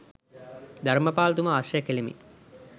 ධර්මපාලතුමා ආශ්‍රය කෙළෙමි.